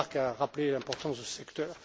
Hökmark a rappelé l'importance de ce secteur.